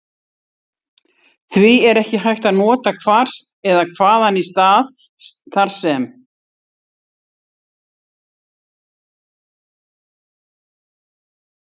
Því er ekki hægt að nota hvar eða hvaðan í stað þar sem.